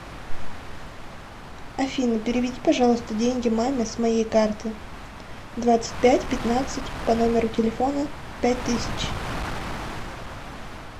афина переведи пожалуйста деньги маме с моей карты двадцать пять пятнадцать по номеру телефона пять тысяч